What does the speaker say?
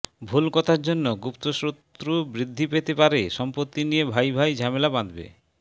ভুল কথার জন্য গুপ্তশত্রু বৃদ্ধি পেতে পারে সম্পত্তি নিয়ে ভাই ভাই ঝামেলা বাঁধবে